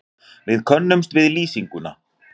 Við könnuðumst við lýsinguna.